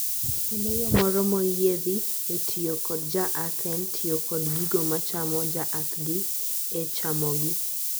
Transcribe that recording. kendo yo moro moyiedhi e tiyo kod jaathen tiyo kod gigo machamo jaath gi e chamo gi